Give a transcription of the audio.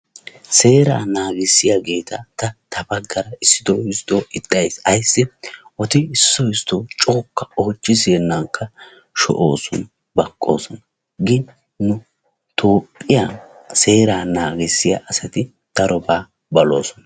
Seeraa naagissiyageeta ta ta baggaara issito issito ixxays. Ayssi eti issi issito coka oychchi siyenanka sho'osona; baqqosona, gin nu toophphiyan seeraa naagissiyaa asati daroba balosona.